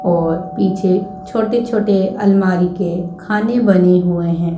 और पीछे छोटे छोटे अलमारी के खाने बने हुए हैं।